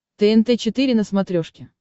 тнт четыре на смотрешке